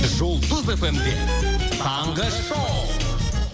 жұлдыз эф эм де таңғы шоу